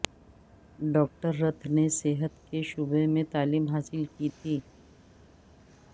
doctor Ruth نے صحت کے شعبے میں تعلیم حاصل کی تھی